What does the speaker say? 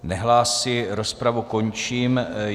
Nehlásí, rozpravu končím.